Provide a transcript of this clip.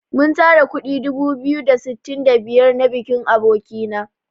Mun tara kuɗi dubu biyu da sittin da biyar na bikin aboki na.